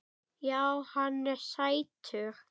Já, hann er sætur.